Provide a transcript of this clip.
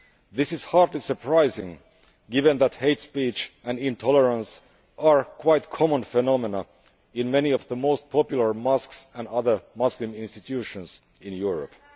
This is hardly surprising, given that hate speech and intolerance are quite common phenomena in many of the most popular mosques and other Muslim institutions in Europe.